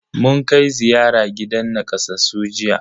Mun kai ziyara gidan nakasassu jiya.